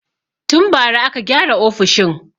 Tun bara aka gyara ofishin.